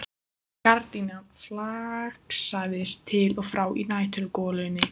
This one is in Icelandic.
Gardínan flaksaðist til og frá í næturgolunni.